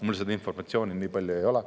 Mul seda informatsiooni nii palju ei ole.